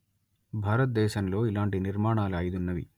భారతదేశంలో ఇలాంటి నిర్మాణాలు అయిదున్నవి